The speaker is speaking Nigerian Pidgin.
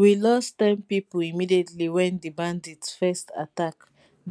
we lost ten pipo immediately wen di bandits first attack